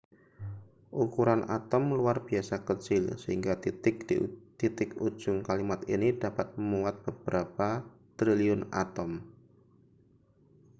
ukuran atom luar biasa kecil sehingga titik di titik ujung kalimat ini dapat memuat beberapa triliun atom